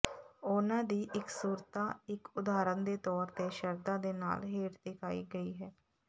ਉਹਨਾਂ ਦੀ ਇਕਸੁਰਤਾ ਇਕ ਉਦਾਹਰਨ ਦੇ ਤੌਰ ਤੇ ਸ਼ਰਧਾ ਦੇ ਨਾਲ ਹੇਠ ਦਿਖਾਈ ਗਈ ਹੈ